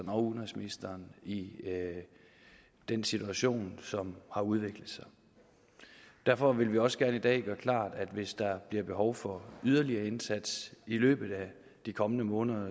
og udenrigsministeren i den situation som har udviklet sig derfor vil vi også gerne i dag gøre det klart at hvis der bliver behov for yderligere indsats i løbet af de kommende måneder